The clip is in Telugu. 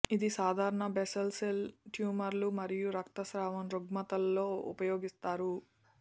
ఇది సాధారణ బేసల్ సెల్ ట్యూమర్లు మరియు రక్తస్రావం రుగ్మతల్లో ఉపయోగిస్తారు